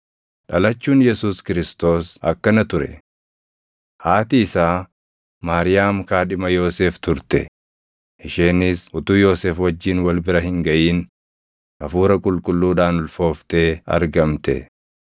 Dhalachuun Yesuus Kiristoos akkana ture: Haati isaa Maariyaam kaadhima Yoosef turte; isheenis utuu Yoosef wajjin wal bira hin gaʼin Hafuura Qulqulluudhaan ulfooftee argamte.